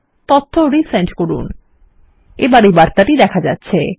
তথ্য পুনরায় পাঠানো হলো কিন্তু এই ত্রুটি দেখা যাচ্ছে